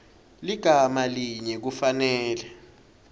ligama linye kufanele